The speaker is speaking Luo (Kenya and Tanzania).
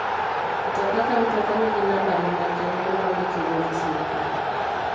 Mtoka ka mtoka nigi numba ne makende ma ondike go gi sirkal.